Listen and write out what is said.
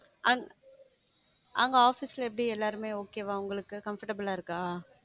அங்க~அங்க office ல எப்படி எல்லாருமே okay வா? உங்களுக்கு comfortable ஆ இருக்கா?